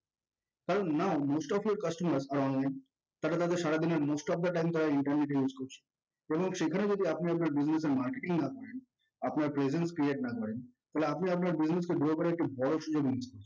current now most of your customers are online তাহলে তাদের সারাদিনের most of the time তারা internet এ use করছে। সেখানে যদি আপনি আপনার business এর marketting না করেন আপনার presence create না করেন তাহলে আপনি আপনার business কে grow করার বড় সুযোগ miss করছেন